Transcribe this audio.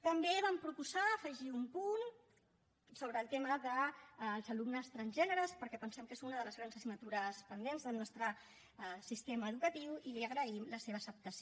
també vam proposar afegir un punt sobre el tema dels alumnes transgèneres perquè pensem que és una de les grans assignatures pendents del nostre sistema educatiu i li agraïm la seva acceptació